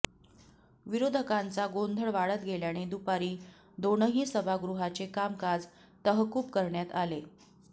विरोधकांचा गोंधळ वाढत गेल्याने दुपारी दोनही सभागृहाचे कामकाज तहकूब करण्यात आले